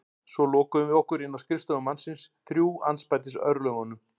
Svo lokuðum við að okkur inni á skrifstofu mannsins, þrjú andspænis örlögunum.